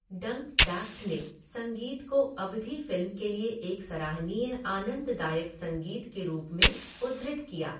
डंकडैफ्ट ने संगीत को 'अवधि फिल्म के लिए एक सराहनीय आनंददायक संगीत' के रूप में उद्धृत किया।